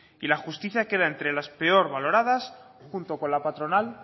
y la justicia queda entre las peor valoradas junto con la patronal